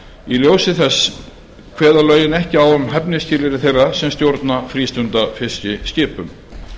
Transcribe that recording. í ljósi þess kveða lögin ekki á um hæfnisskilyrði þeirra sem stjórna frístundafiskiskipum